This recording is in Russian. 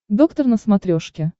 доктор на смотрешке